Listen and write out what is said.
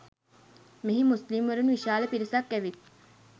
මෙහි මුස්ලිම්වරුන් විශාල පිරිසක් ඇවිත්